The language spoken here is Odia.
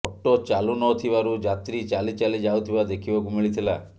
ଅଟୋ ଚାଲୁନଥିବାରୁ ଯାତ୍ରୀ ଚାଲି ଚାଲି ଯାଉଥିବା ଦେଖିବାକୁ ମିଳିଥିଲା